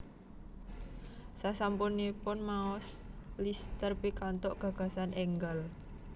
Sasampunipun maos Lister pikantuk gagasan enggal